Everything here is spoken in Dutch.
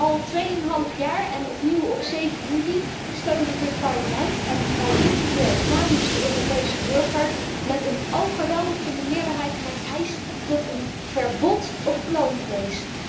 Al 2,5 jaar en opnieuw op 7 juli, steunde dit Parlement en wij zitten hier namens de Europese burger met een overweldigende meerderheid mijn eis tot een verbod op kloonvlees.